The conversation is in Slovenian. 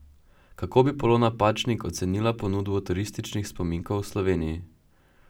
Kako pa bi Polona Pačnik ocenila ponudbo turističnih spominkov v Sloveniji?